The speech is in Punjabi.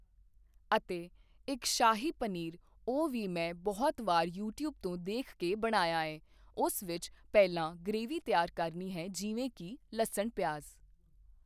ਅਤੇ ਇੱਕ ਸ਼ਾਹੀ ਪਨੀਰ ਉਹ ਵੀ ਮੈਂ ਬਹੁਤ ਵਾਰ ਯੂਟਿਊਬ ਤੋਂ ਦੇਖ ਕੇ ਬਣਾਇਆ ਏ ਉਸ ਵਿੱਚ ਪਹਿਲਾਂ ਗ੍ਰੇਵੀ ਤਿਆਰ ਕਰਨੀ ਹੈ ਜਿਵੇਂ ਕੀ ਲਸਣ ਪਿਆਜ਼